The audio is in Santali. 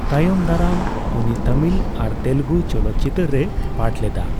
ᱛᱟᱭᱚᱢᱫᱟᱨᱟᱢ, ᱩᱱᱤ ᱛᱟᱹᱢᱤᱞ ᱟᱨ ᱛᱮᱞᱮᱜᱩ ᱪᱚᱞᱚᱛᱪᱤᱛᱟᱹᱨ ᱨᱮᱭ ᱯᱟᱴᱷ ᱞᱮᱫᱟ ᱾